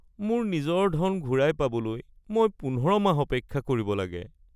মোৰ নিজৰ ধন ঘূৰাই পাবলৈ মই ১৫ মাহ অপেক্ষা কৰিব লাগে